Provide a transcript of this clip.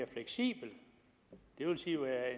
sige